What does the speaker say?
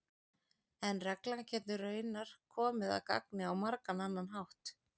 en reglan getur raunar komið að gagni á margan annan hátt